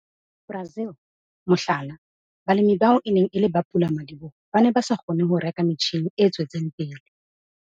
Brazil, mohlala, balemi bao e neng e le bopulamadiboho ba ne ba sa kgone ho reka metjhine e tswetseng pele.